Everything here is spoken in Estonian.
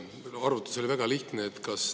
Arvutus oli väga lihtne.